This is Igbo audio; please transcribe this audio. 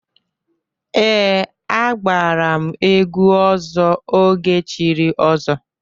Ee, agbara m egwu ọzọ oge chiri ọzọ.